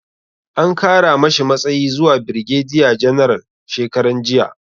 An kara mashi matsayi zuwa birgediya janaral shekaranjiya